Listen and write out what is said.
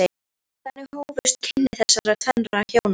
Þannig hófust kynni þessara tvennra hjóna.